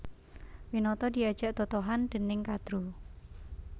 Winata diajak totohan dèning Kadru